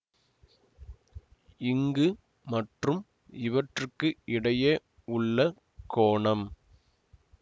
இங்கு மற்றும் இவற்றுக்கு இடையே உள்ள கோணம்